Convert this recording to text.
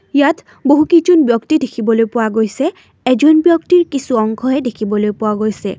ইয়াত বহুকেইজন ব্যক্তি দেখিবলৈ পোৱা গৈছে এজন ব্যক্তিৰ কিছু অংশহে দেখিবলৈ পোৱা গৈছে।